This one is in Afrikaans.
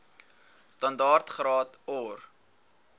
standaard graad or